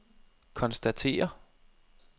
konstatere